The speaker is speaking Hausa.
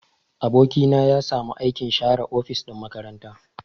Aboki na ya samu aikin share ofis ɗin makaranta.